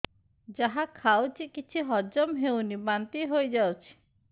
ଯାହା ଖାଉଛି କିଛି ହଜମ ହେଉନି ବାନ୍ତି ହୋଇଯାଉଛି